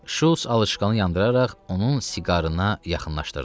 Şults alışqan yandıraraq onun siqarına yaxınlaşdırdı.